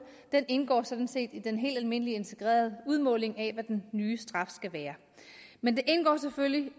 den indgår sådan set i den helt almindelige integrerede udmåling af hvad den nye straf skal være men den indgår selvfølgelig ud